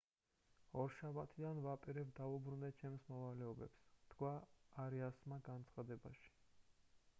ორშაბათიდან ვაპირებ დავუბრუნდე ჩემს მოვალეობებს თქვა არიასმა განცხადებაში